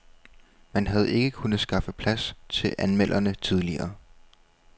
Man havde ikke kunnet skaffe plads til anmelderne tidligere.